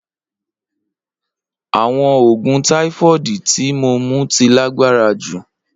Awọn oogun typhoid ti mo mu ti lagbara ju.